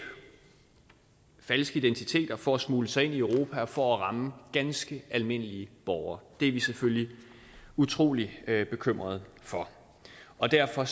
falske identiteter for at smugle sig ind i europa og for at ramme ganske almindelige borgere det er vi selvfølgelig utrolig bekymret for og derfor